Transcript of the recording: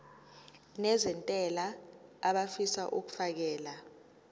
nezentela abafisa uukfakela